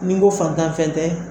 N'i n ko fantan fɛn tɛ